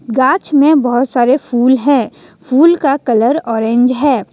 गांछ में बहोत सारे फूल हैं फूल का कलर ऑरेंज है।